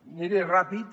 aniré ràpid